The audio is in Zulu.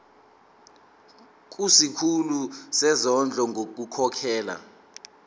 kusikhulu sezondlo ngokukhokhela